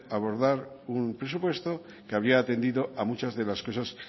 abordar un presupuesto que habría atendido a muchas de las cosas